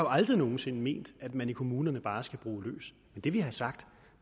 aldrig nogen sinde ment at man i kommunerne bare skal bruge løs det vi har sagt